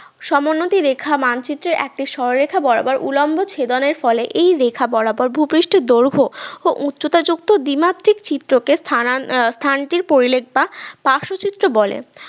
সমোন্নতি রেখা মানচিত্রের একটি সরলরেখা বরাবর উলম্ব ছেদনের ফলে এই রেখা বরাবর ভূপৃষ্ঠের দৈর্ঘ্য ও উচ্চতা যুক্ত দ্বিমাত্রিক চিত্রকে স্থানান আহ স্থানটির পরিলেখ বা পার্শ্বতীর্থ বলে